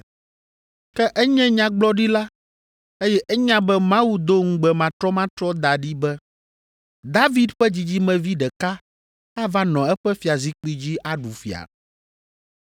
Ke enye nyagblɔɖila, eye enya be Mawu do ŋugbe matrɔmatrɔ da ɖi be David ƒe dzidzimevi ɖeka ava nɔ eƒe fiazikpui dzi aɖu fia.